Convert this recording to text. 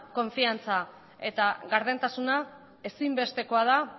konfidantza eta gardentasuna ezinbestekoa da